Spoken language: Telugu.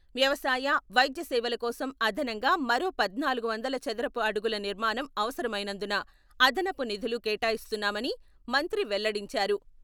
వ్యవసాయ, వైద్య సేవల కోసం అదనంగా మరో పద్నాలుగు వందల చదరపు అడుగుల నిర్మాణం అవసరమైనందున అదనపు నిధులు కేటాయిస్తున్నామని మంత్రి వెల్లడించారు.